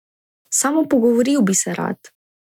Samo pogovoril bi se rad.